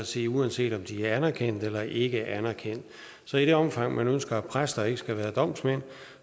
sige uanset om de er anerkendt eller ikke anerkendt så i det omfang man ønsker at præster ikke skal være domsmænd